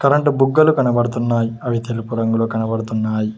Current బుగ్గలు కనబడుతున్నాయి అవి తెలుపు రంగులో కనబడుతున్నాయ్.